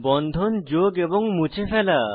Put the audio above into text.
বন্ধন যোগ এবং মুছে ফেলা